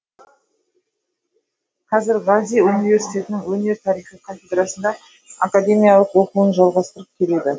қазір гази университетінің өнер тарихы кафедрасында академиялық оқуын жалғастырып келеді